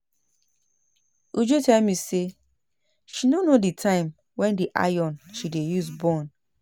Uju tell me say she no know the time wen the iron she dey use burn